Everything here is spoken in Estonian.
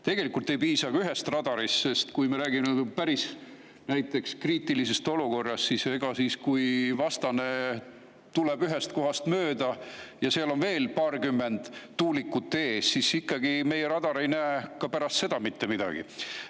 Tegelikult ei piisa ühest radarist, sest kui me räägime päris kriitilisest olukorrast, siis kui vastane tuleb ühest kohast mööda ja seal on veel paarkümmend tuulikut ees, siis meie radar ei näe ka pärast seda mitte midagi.